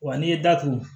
Wa n'i ye datugu